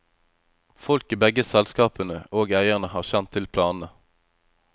Folk i begge selskapene, og eierne, har kjent til planene.